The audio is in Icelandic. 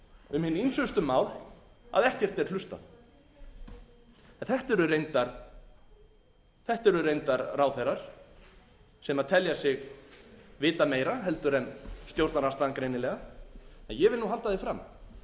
um hin ýmsustu mál að ekkert er hlustað þetta eru reyndar ráðherra sem telja sig vita meira en stjórnarandstaðan greinilega en ég vil nú halda því fram